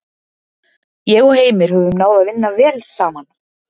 Ég og Heimir höfum náð að vinna vel saman.